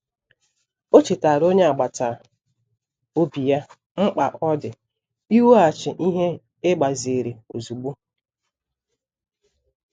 Ọ chetaara onye agbata obi ya mkpa ọ dị iweghachi ihe e gbaziri ozugbo.